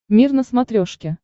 мир на смотрешке